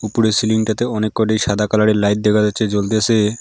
উপরের সিলিং টাতেও অনেক কয়টি সাদা কালারের লাইট দেখা যাচ্ছে জ্বলতেছে।